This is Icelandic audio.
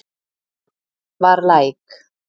Var læk